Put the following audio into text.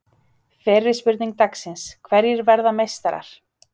Fyrri spurning dagsins: Hverjir verða meistarar?